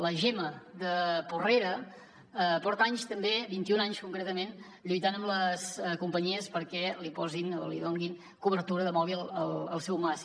la gemma de porrera porta anys també vint i un anys concretament lluitant amb les companyies perquè li donin cobertura de mòbil al seu mas